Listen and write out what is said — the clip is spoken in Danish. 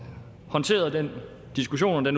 håndteret den diskussion og